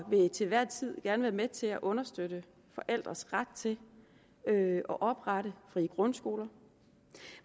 vil til enhver tid gerne være med til at understøtte forældres ret til at oprette frie grundskoler